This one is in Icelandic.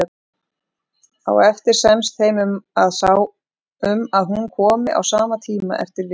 Á eftir semst þeim um að hún komi á sama tíma eftir viku.